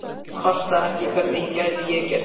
En ég kvarta ekki, hvernig gæti ég gert það?